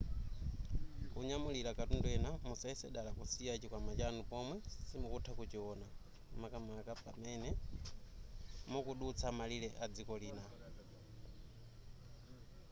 kunyamulira katundu ena musayese dala kusiya chikwama chanu pomwe simukutha kuchiona makamaka pamene mukudutsa malire adziko lina